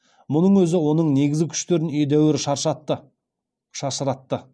мұның өзі оның негізгі күштерін едәуір шашыратты